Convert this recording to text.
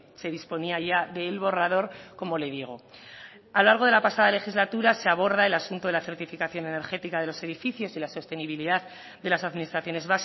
se disponía ya del borrador como le digo a lo largo de la pasada legislatura se aborda el asunto de la certificación energética de los edificios y la sostenibilidad de las administraciones